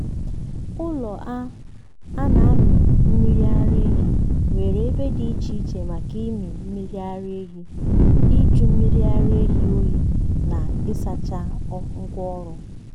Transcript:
ụlọ a a na-amị mmiri ara ehi nwere ebe dị iche iche maka ịmị mmiri ara ehi ịjụ mmiri ara ehi oyi na ịsacha ngwa ọrụ.